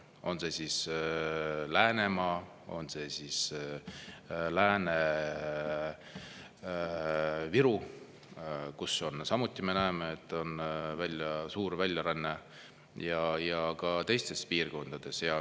On see siis Läänemaa, on see Lääne-Virumaa, kus samuti, me näeme, on suur väljaränne, või ka teised piirkonnad.